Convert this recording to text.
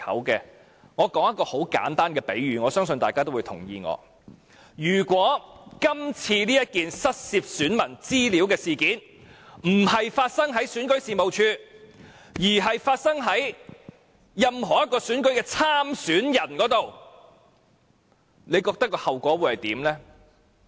讓我作很簡單的比喻，我相信大家也會認同，如果今次這件失竊選民資料事件並非在選舉事務處發生，而是在任何一個選舉參選人身上發生，你覺得後果會如何？